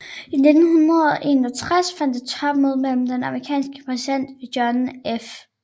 I 1961 fandt et topmøde mellem den amerikanske præsident John F